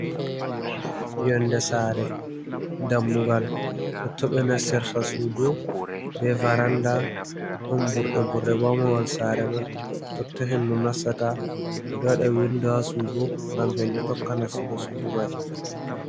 Yonnde saare, dammugal totto ɓe nastirta suudu be varannda, ɗon burɗe burɗe bo haa mahol saare man, totta hendu nastata. Ɓe ɗo waɗa winndo haa suudu, ngam hendu tokka nastugo suudu may.